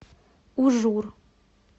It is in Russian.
ужур